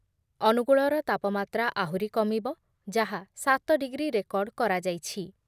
ଅନୁଗୁଳର ତାପମାତ୍ରା ଆହୁରି କମିବ ଯାହା ସାତ ଡିଗ୍ରୀ ରେକର୍ଡ଼ କରାଯାଇଛି ।